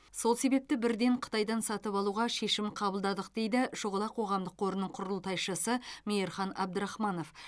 сол себепті бірден қытайдан сатып алуға шешім қабылдадық дейді шұғыла қоғамдық қорының құрылтайшысы мейірхан абдрахманов